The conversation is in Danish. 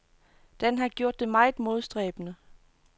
Den har gjort det meget modstræbende.